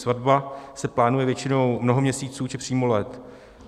Svatba se plánuje většinou mnoho měsíců, či přímo let.